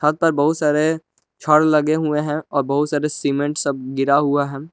यहाँ पर बहुत सारे छड़ लगे हुए है। और बहुत सारे सीमेंट सब गिरा हुआ है।